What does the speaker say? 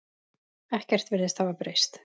Ekkert virðist hafa breyst.